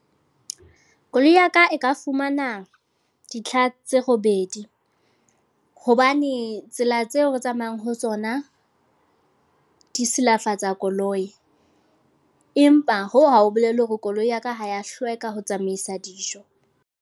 Koloi ya ka, e ka fumana ditlha tse robedi. Hobane tsela tseo re tsamayang ho tsona, di silafatsa koloi. Empa hoo ha ho bolele hore koloi ya ka ha ya hlweka ho tsamaisa dijo.